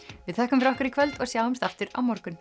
við þökkum fyrir okkur í kvöld og sjáumst aftur á morgun